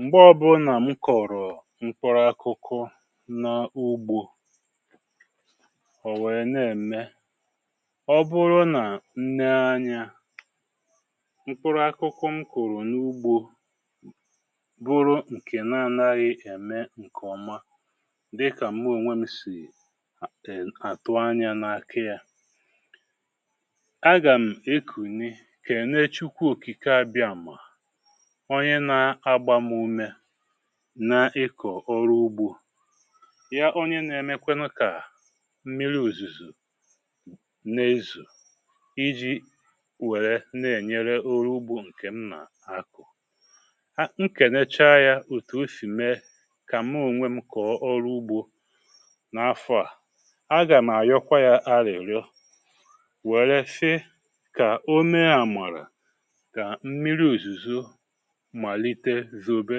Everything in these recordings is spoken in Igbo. Mgbe ọbụnà m kọ̀rọ̀ mkpụrụ akụkụ na ugbȯ, ò wèe na-ème, ọ bụrụ nà nnee anyȧ, mkpụrụ akụkụ m kụ̀rụ̀ n’ugbȯ bụrụ ǹkè na-anaghị ème ǹkèọma dịkà mụ ònwė m sì àtụ anyȧ n’aka yȧ, a gà m ekùni, kènee Chukwu òkikè abịamà, ọnye na-agbà m ume na ịkọ̀ ọrụ ugbȯ. Ya, onye na-emekwa kà mmiri òzùzò na-ézò iji wère na-ènyere oru ugbȯ ǹkè m nà-akụ̀. um ǹkènecha yȧ òtù o sì mee kà mụ onwe m kọ̀ọ ọrụ ugbȯ n’afọ à, agà m àyọkwa yȧ arị̀rịọ wère sị kà o mee àmarà ka mmiri òzùzó malite zobé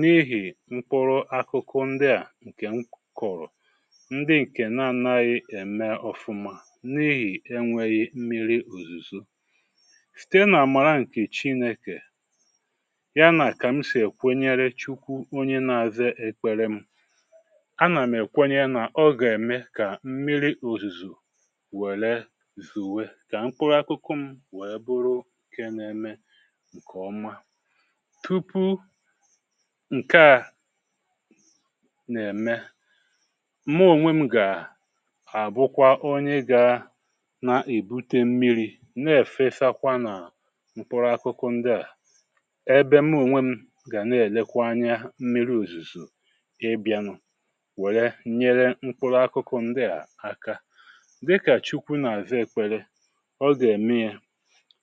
n’ihì mkpụrụ akụkụ ndi à ǹkè m kụrụ̀, ndị ǹkè na-anaghị ème ọfụma n’ihì enwėghi mmiri òzùzò. Site n’àmàra ǹkè Chinėkè, ya nà kà m sì èkwenyere Chukwu onye na-aza ekpere m, a nà m èkwenye nà ọ gà-ème kà mmiri òzùzò wère zòwé kà mkpụrụ akụkụ m wèe bụrụ ǹke na-eme ǹkè ọma. Tupu nke à nà-ème, mụ ònwe m gà àbụkwa onye gȧnà-èbute mmiri na-èfesakwa nà mkpụrụ akụkụ ndị à, ebe mụ ònwe m gà nà-èlekwa anya mmiri òzùzò ịbịȧnụ̇ wèré nyere mkpụrụ akụkụ ndị à aka. Dịkà Chukwu na-àzá ekpele, ọ gà-ème ya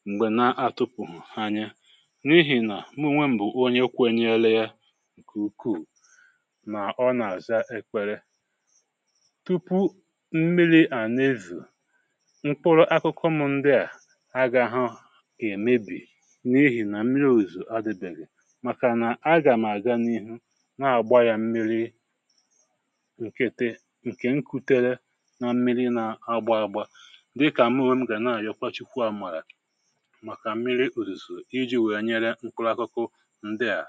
m̀gbè na-atụpụ̀ghụ̀ anya n'ihi na mụ onwe bụ onye kwenyerla ǹkè ukuù, nà ọ nà-àza ekpere. Tupu mmiri à na-ézò, mkpụrụ akụkụ m ndị à agaghọ èmebì n’ihì nà mmiri òzò adịbèghì màkà nà agà m àga n’ihu na-àgba yȧ mmiri ǹkété, ǹkè nkutere na mmiri na-agba agba, dịkà mụ onwe m gà na-ayọkwa Chukwu àmàrà màkà mmiri òzùzò, iji wèé nyere mkpụrụ akụkụ ndị à.